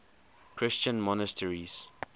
christian monasteries